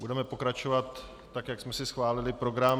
Budeme pokračovat tak, jak jsme si schválili program.